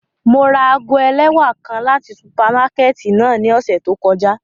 Mo ra aago ẹlẹwa kan lati supamakẹti náa ni ọsẹ to kọja.